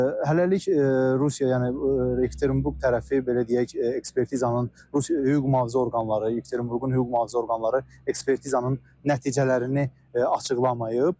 Hələlik Rusiya, yəni Yekaterinburq tərəfi belə deyək, ekspertizanın hüquq-mühafizə orqanları, Yekaterinburqun hüquq-mühafizə orqanları ekspertizanın nəticələrini açıqlamayıb.